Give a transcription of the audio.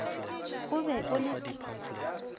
o be o le t